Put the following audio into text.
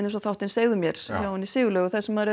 eins og þáttinn segðu mér hjá henni Sigurlaugu þar sem maður